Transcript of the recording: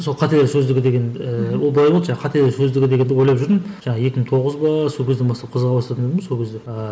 сол қателер сөздігі деген ііі ол былай болды жаңағы қателер сөздігі дегенді ойлап жүрдім жаңағы екі мың тоғыз ба сол кезден бастап қызыға бастадым сол кезде ыыы